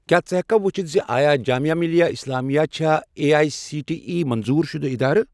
کیٛاہ ژٕ ہیٚککھا وُچھِتھ زِ آیا جامیا مِلیہ اِسلامیہ چھا اے اٮٔۍ سی ٹی ایی منظور شُدٕ ادارٕ؟